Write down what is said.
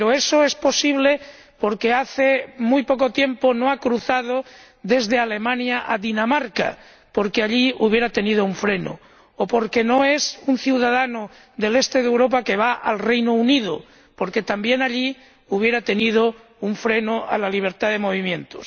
Pero eso es posible porque hace muy poco tiempo no ha cruzado Europa para ir de Alemania a Dinamarca, porque allí habría tenido un freno, o porque no es un ciudadano del este de Europa que va al Reino Unido, porque también allí habría tenido un freno a la libertad de movimientos.